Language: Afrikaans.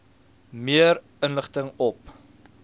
meer inligting op